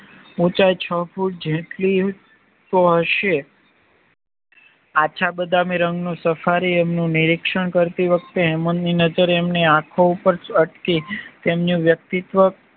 ઉંચાઈ છ ફૂટ જેટલી તો હશે આછા બાદામીરંગનું સફારી એમનું નિરીક્ષણ કરતી વખતે હેમંતની નજર એમની આખો ઉપર અટકી તેમનું વ્યક્તિત્વ